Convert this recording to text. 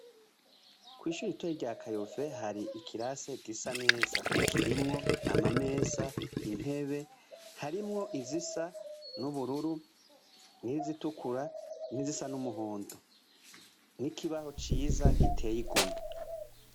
Kwishuri ritoya rya kayove hari ikirase gisa neza ,kirimwo amameza ,intebe ,harimwo izisa n'ubururu, n'izitukura, n'izisa n'umuhondo ,n'ikibaho ciza giteye igomwe.